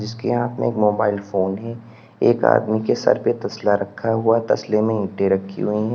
उसके हाथ में मोबाइल फोन है एक आदमी के सर पे तसला रखा हुआ है तसले में ईटें रखी हुई--